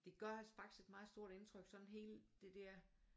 Det gør faktisk et meget stort indtryk sådan helt det dér